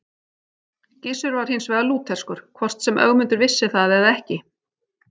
Gissur var hins vegar lútherskur, hvort sem Ögmundur vissi það eða ekki.